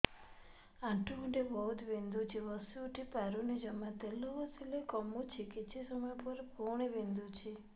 ଆଣ୍ଠୁଗଣ୍ଠି ବହୁତ ବିନ୍ଧୁଛି ବସିଉଠି ପାରୁନି ଜମା ତେଲ ଘଷିଲେ କମୁଛି କିଛି ସମୟ ପରେ ପୁଣି ବିନ୍ଧୁଛି